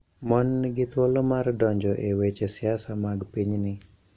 Mon nigi thuolo mar donjo e weche siasa mag pinyni.